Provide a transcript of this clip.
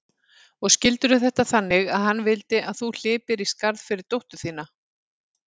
Og skildirðu þetta þannig að hann vildi að þú hlypir í skarðið fyrir dóttur þína?